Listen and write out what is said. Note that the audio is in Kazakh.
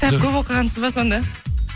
кітап көп оқығансыз ба сонда